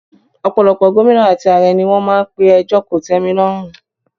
Ọ̀pọ̀lọpọ̀ Gómìnà àti ààrẹ ni wọ́n máa n pe ẹjọ́ kòtẹ́milọ́rùn